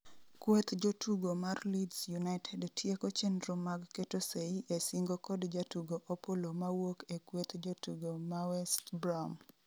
Kweth jotugo mar leeds united tieko chenro mag keto sei e singo kod jatugo Opollo mawuok e kweth jotugo ma WestBrom